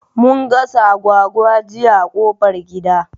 Mun gasa agwagwa jiya a ƙofar gida